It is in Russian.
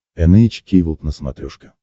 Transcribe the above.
эн эйч кей волд на смотрешке